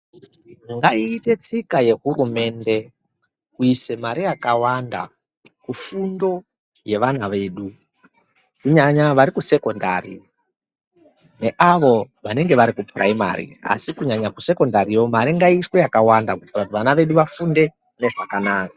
Ngaiite tsika yehurumende kuisa mari yakawanda kufundo yevana vedu kunyaya vari kusekondari neavo vanenge vari kupuraimari asi kunyanya kusekondariyo mari ngaiiswe yakawanda kuitira kuti vana vedu vafunde zvakanaka.